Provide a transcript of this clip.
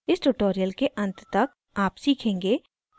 इस ट्यूटोरियल के अंत तक आप सीखेंगे कि: